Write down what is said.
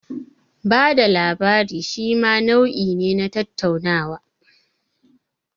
Bada labari shima nau'i ne na tattaunawa.